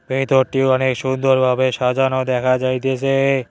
ভেতরটি অনেক সুন্দর ভাবে সাজানো দেখা যাইতাসে।